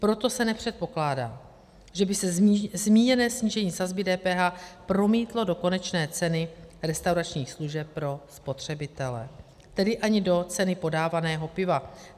Proto se nepředpokládá, že by se zmíněné snížení sazby DPH promítlo do konečné ceny restauračních služeb pro spotřebitele, tedy ani do ceny podávaného piva.